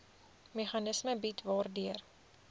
meganisme bied waardeur